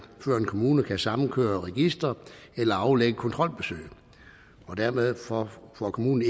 før en kommune kan samkøre registre eller aflægge kontrolbesøg dermed får får kommunen